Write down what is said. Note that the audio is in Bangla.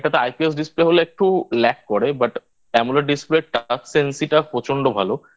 এটাতে IPS Display হলে একটু Lack করে But Amoled Display Touch Sensibility প্রচন্ড ভালো